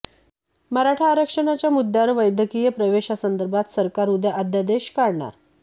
मराठा आरक्षणाच्या मुद्यावर वैद्यकीय प्रवेशासंदर्भात सरकार उद्या अध्यादेश काढणार